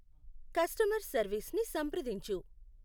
customer సర్వీస్ని సంప్రదించు